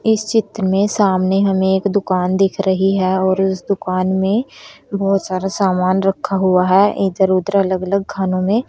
इस चित्र में सामने हमें एक दुकान दिख रही है और इस दुकान में बहोत सारा सामान रखा हुआ है इधर उधर अलग अलग खानों में--